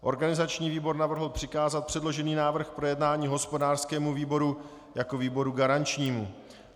Organizační výbor navrhl přikázat předložený návrh k projednání hospodářskému výboru jako výboru garančnímu.